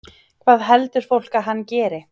Hvað heldur fólk að hann geri?